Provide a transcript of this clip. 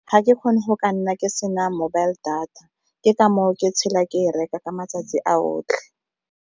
Ga ke kgone go ka nna ke sena mobile data, ke ka moo ke tshela ke e reka ka matsatsi a otlhe.